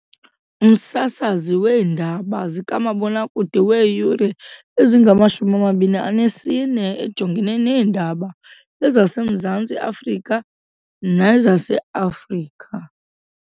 Umsasazi weendaba zikamabonakude weeyure ezingama-24 ejongene neendaba ezaseMzantsi Afrika nezaseAfrika .